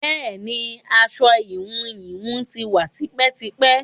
Bẹẹni, aṣọ íhùn íhùn tí wá tipẹ́tipẹ́.